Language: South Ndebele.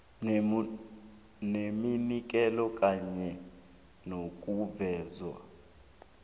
neminikelo kunye nokuveza